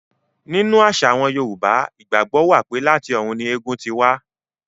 Nínú àṣà àwọn Yorùbá, ìgbàgbọ́ wà pé láti ọ̀run ni Ègún ún ti ṣẹ̀ wá.